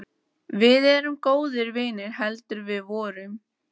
Við erum góðir vinir heldur við vorum.